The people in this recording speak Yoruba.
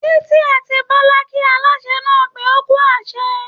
Títí àti Bọlá kí Aláṣẹ náà pé ókú àsè